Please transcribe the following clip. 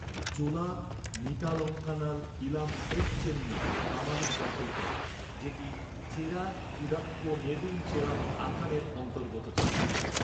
চোলা নিতালঙ্কানাল Ilamchetchenni Pamalur দখল করে, যেটি চেরা কুডাক্কো নেদুম চেরাল আথানের অন্তর্গত ছিল।